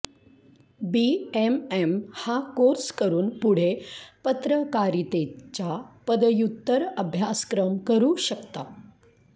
BMM हा course करून पुढे पत्रकारितेचा पदव्युत्तर अभ्यासक्रम करू शकता